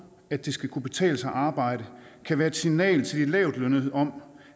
at det skal kunne betale sig at arbejde kan være et signal til de lavtlønnede om